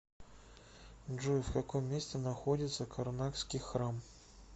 джой в каком месте находится карнакский храм